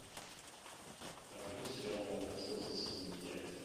покажи мне сериал молокососы сезон пять